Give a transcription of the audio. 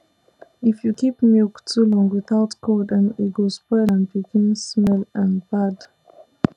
if you keep milk too long without cold um e go spoil and begin smell um bad